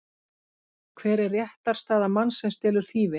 Hver er réttarstaða manns sem stelur þýfi?